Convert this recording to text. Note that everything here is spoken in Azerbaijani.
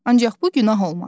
Ancaq bu günah olmaz.